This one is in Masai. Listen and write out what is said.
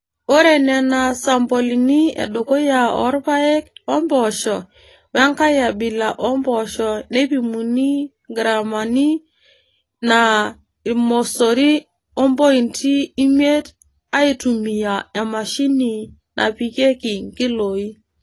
Ore Nena duoo sampolini edukuya oo rpayek ompoosho we nkae abila oompoosho neipimuni ngraami naa ormosori ompointi imiet aaitumiya emashini naipimieki nkilooi.